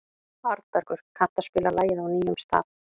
Arnbergur, kanntu að spila lagið „Á nýjum stað“?